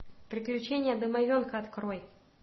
приключения домовенка открой